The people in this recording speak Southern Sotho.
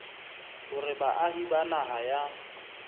hore baahi ba naha ya